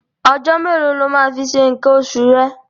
Ọjọ́ mélòó lo máa fi ṣe nǹkan oṣù rẹ̀?